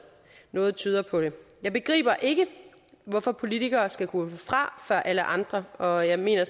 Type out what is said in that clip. noget tyder på det jeg begriber ikke hvorfor politikere skal kunne gå fra før alle andre og jeg mener